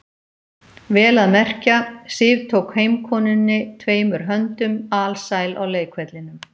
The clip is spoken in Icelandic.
Vel að merkja, Sif tók heimkomunni tveimur höndum, alsæl á leikvellinum.